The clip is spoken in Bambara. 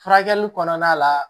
Furakɛli kɔnɔna la